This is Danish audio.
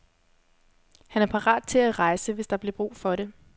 Han er parat til at rejse, hvis der bliver brug for det.